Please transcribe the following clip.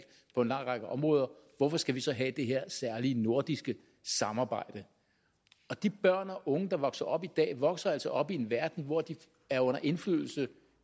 på en lang række områder hvorfor skal vi så have det her særlige nordiske samarbejde de børn og unge der vokser op i dag vokser altså op i en verden hvor de er under indflydelse af